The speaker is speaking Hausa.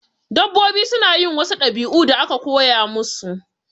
Dabbobi suna yin wasu ɗabi'u da aka koya musu